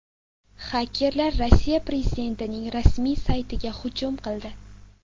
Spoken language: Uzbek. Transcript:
Xakerlar Rossiya prezidentining rasmiy saytiga hujum qildi.